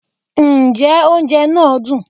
njẹ oúnjẹ naa dún